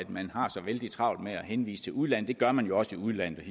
man har så vældig travlt med at henvise til udlandet det gør man jo også i udlandet